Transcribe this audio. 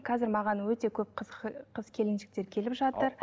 қазір маған өте көп қыз келіншектер келіп жатыр